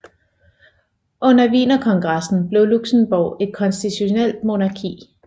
Under Wienerkongressen blev Luxembourg et konstitutionelt monarki